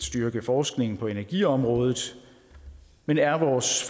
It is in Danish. styrke forskningen på energiområdet men er vores